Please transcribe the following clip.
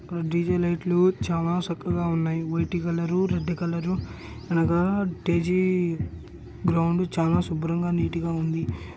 DJ లైట్లు చాలా సక్కగా ఉన్నాయి. వైటు కలరు రెడ్ కలర్ అలాగా డి_జే గ్రౌండ్ చానా శుభ్రంగా నీట్ గా ఉంది.